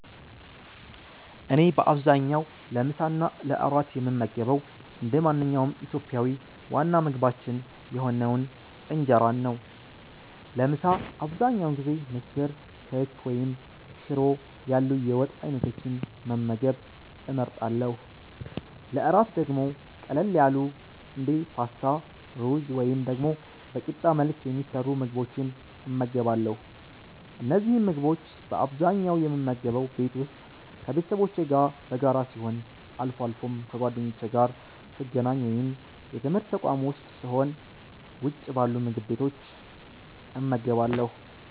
እኔ በአብዛኛው ለምሳ እና ለእራት የምመገበው እንደ ማንኛውም ኢትዮጵያዊ ዋና ምግባችን የሆነውን እንጀራን ነው። ለምሳ አብዛኛውን ጊዜ ምስር፣ ክክ ወይም ሽሮ ያሉ የወጥ አይነቶችን መመገብ እመርጣለሁ። ለእራት ደግሞ ቀለል ያሉ እንደ ፓስታ፣ ሩዝ ወይም ደግሞ በቂጣ መልክ የሚሰሩ ምግቦችን እመገባለሁ። እነዚህን ምግቦች በአብዛኛው የምመገበው ቤት ውስጥ ከቤተሰቦቼ ጋር በጋራ ሲሆን፣ አልፎ አልፎም ከጓደኞቼ ጋር ስገናኝ ወይም የትምርት ተቋም ዉስጥ ስሆን ውጭ ባሉ ምግብ ቤቶች እመገባለሁ።